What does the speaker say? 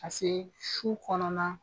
Paseke su kɔnɔna